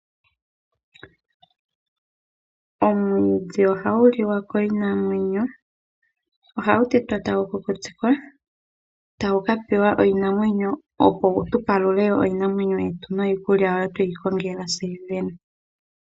Omwiidhi oha gu liwa kiinamwenyo oha gu tetwa tagu kukutikwa tagu ka pewa iinamwenyo opo tu palule iinamwenyo yetu niikulya mbyoka tweyi gongela tse yene.